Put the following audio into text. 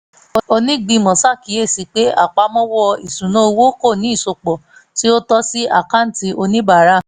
onígbìmọ̀ ṣàkíyèsí pé àpamọ́ ìṣúnná owó kò ní ìsopọ̀ tí ó tọ́ sí àkáǹtì oníbàárà